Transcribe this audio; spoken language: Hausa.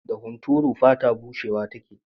Da hunturu fata bushewa take.